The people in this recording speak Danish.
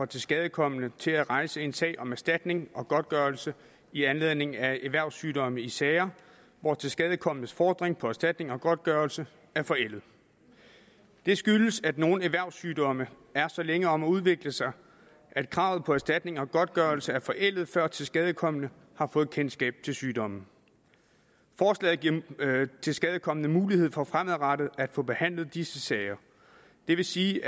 tilskadekomne til at rejse en sag om erstatning og godtgørelse i anledning af erhvervssygdomme i sager hvor tilskadekomnes fordring på erstatning og godtgørelse er forældet det skyldes at nogle erhvervssygdomme er så længe om at udvikle sig at kravet på erstatning og godtgørelse er forældet før tilskadekomne har fået kendskab til sygdommen forslaget giver tilskadekomne mulighed for fremadrettet at få behandlet disse sager det vil sige